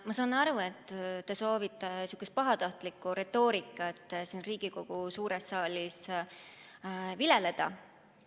Ma saan aru, et te soovite pahatahtlikku retoorikat siin Riigikogu suures saalis viljeleda.